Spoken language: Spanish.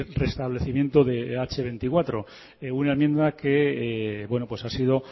reestablecimiento del hache veinticuatro una enmienda que bueno pues ha sido